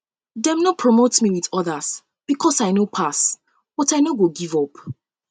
um dem no promote me wit odas because i no pass um but i no give up